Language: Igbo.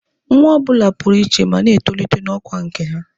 Nwa ọ bụla pụrụ iche ma na-etolite n'ọkwa nke ha.